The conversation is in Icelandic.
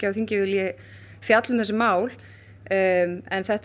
þingið vill fjalla um þessi mál en þetta er